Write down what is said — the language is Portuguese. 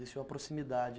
Desceu a proximidade.